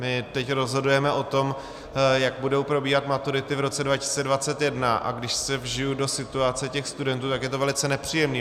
My teď rozhodujeme o tom, jak budou probíhat maturity v roce 2021, a když se vžiji do situace těch studentů, tak je to velice nepříjemné.